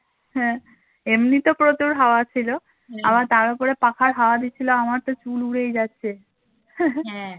হ্যাঁ এমনিতেও প্রচুর হাওয়া ছিল আবার তার উপরে পাখার হাওয়া দিচ্ছিল আমার তো চুল উড়েই যাচ্ছে